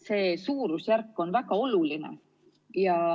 See suurusjärk on väga oluline.